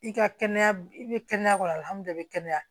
I ka kɛnɛya i bɛ kɛnɛya